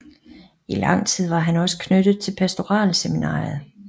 I lang tid var han også knyttet til pastoralseminariet